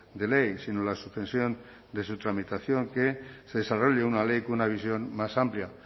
de ley sino la suspensión de su tramitación que se desarrolle una ley con una visión más amplia